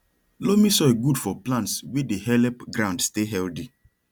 loamy soil good for plants way dey help ground stay healthy